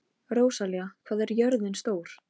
Elskan mín, taktu þetta ekki nærri þér.